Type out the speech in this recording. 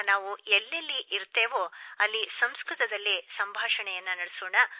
ನಾವು ಎಲ್ಲೆಲ್ಲಿ ಇರುತ್ತೇವೆಯೋ ಅಲ್ಲಿ ಸಂಸ್ಕೃತದಲ್ಲಿಸಂಭಾಷಿಸೋಣ